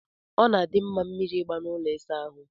Ọ na-adị mma mmiri ịgba na ụlọ ịsa ahụ.